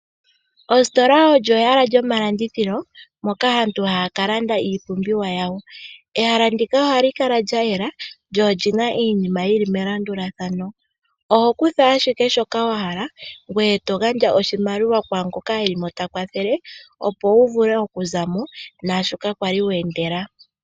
Ositola olyo ehala lyomalandithilo moka aantu haya kalanda iipumbiwa yawo. Ehala ndika ohali kala lya yela lyo oli na iinima yili melandulathano. Oho kutha ashike shoka wa hala ngoye to gandja oshimaliwa kwaangoka eli mo ta kwathele opo wu vule okuza mo naashoka kwali weendela.